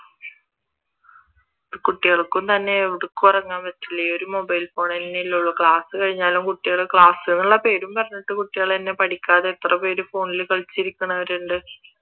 കുട്ടികൾക്കും തന്നെ ഉറങ്ങാൻ പറ്റൂല ഈ ഒരു mobile phone തന്നെയല്ലേ ഉള്ളു ക്ലാസ് കഴിഞ്ഞാലും കുട്ടികൾ ക്ലാസ് എന്നുള്ള പേരും പറഞ്ഞിട്ട് കുട്ടികൾ തന്നെ പഠിക്കാതെ എത്ര പേര് ഫോണിൽ കളിച്ചു ഇരിക്കുന്നവരുണ്ട്